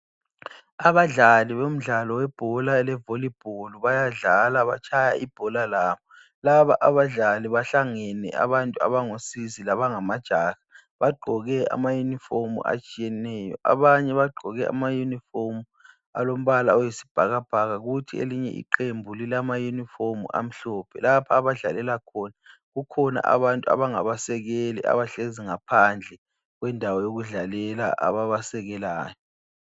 Abadlali bomdlalo be bhora levolleyball bayadlala batshaya ibholalabo laba abadlali bahlangene abantu abango sisi labangamajaha bagqoke ama uniform atshiyeneyo abanye bagqoke ama uniform alombala oyisibhakabhaka kuthi elinye iqembu lilamauniform amhlophe lapho abadlalela khona kukhona abantu abangabasekeli abahlezi ngaphandle kwendawo yokudlalela ababasekelayo